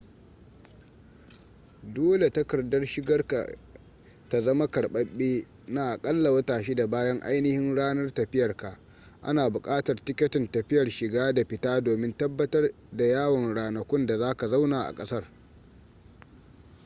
dole takardar shigar ka ta zama karbabbe na akalla wata 6 bayan ainihin ranar tafiyar ka ana bukatar tiketin tafiyar shiga da fita domin tabbatar da yawan ranakun da zaka zauna a kasar